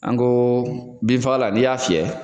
An ko binfagalan n'i y'a fiyɛ